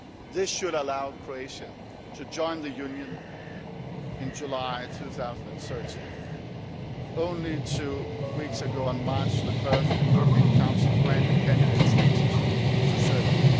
This should allow Croatia to join the Union in July 2013. Only two weeks ago, on 1 March, the European Council granted candidate status to Serbia.